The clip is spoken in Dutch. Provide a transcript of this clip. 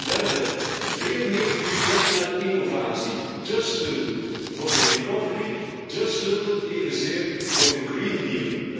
Ten derde, veel meer budget naar innovatie, de sleutel voor herstel, de sleutel evenzeer voor de Green Deal.